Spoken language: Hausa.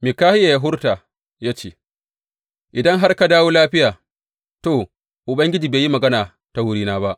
Mikahiya ya furta ya ce, Idan har ka dawo lafiya, to, Ubangiji bai yi magana ta wurina ba.